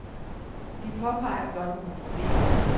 Vi påpeger blot nogle problemer.